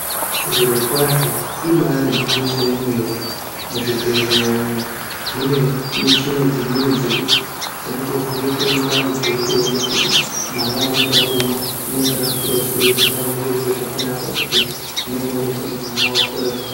Zvirokwazvo ibaari gwinyiso yemene. Muzvibhedhlya umu mune michina dzimweni dzekuti dzinototovheneke mundani dzeitoone kuti mwana anenge arimwo unenge akura sei. Zvinova zviro zvakanaka kuti zvinongooneka kuti mwana wakura zvaka...